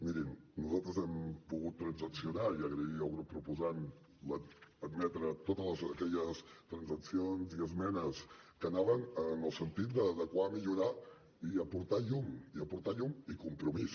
mirin nosaltres hem pogut transaccionar i agraïm al grup proposant haver admès totes aquelles transaccions i esmenes que anaven en el sentit d’adequar millorar i aportar llum i aportar llum i compromís